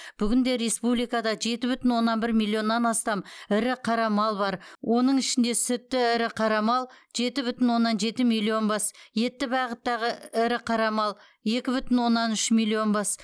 бүгінде республикада жеті бүтін оннан бір миллионнан астам ірі қара мал бар оның ішінде сүтті ірі қара мал жеті бүтін оннан жеті миллион бас етті бағыттағы ірі қара мал екі бүтін оннан үш миллион бас